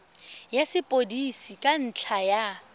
ya sepodisi ka ntlha ya